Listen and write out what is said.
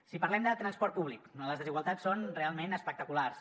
si parlem de transport públic les desigualtats són realment espectaculars